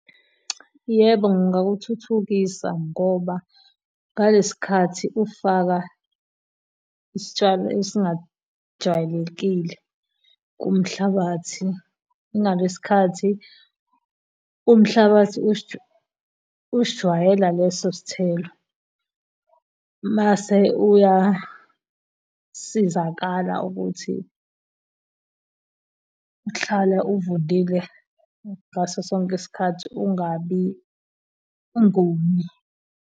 Yebo, ngingakuthuthukisa ngoba ngalesi sikhathi ufaka isitshalo esingajwayelekile kumhlabathi ngalesi khathi umhlabathi usijwayela leso sthelo, mase uyasizakala ukuthi hlala uvundile ngaso sonke isikhathi kungabi kubi.